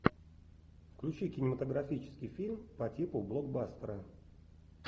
включи кинематографический фильм по типу блокбастера